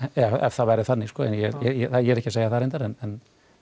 ef það væri þannig ég er ekki að segja það þannig reyndar en